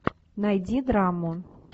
найди драму